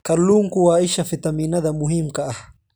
Kalluunku waa isha fiitamiinnada muhiimka ah.